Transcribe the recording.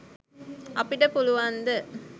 අපිට පුලුවන්ද?